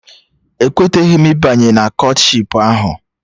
Ekweteghị m ịbanye Kọtshipu ahụ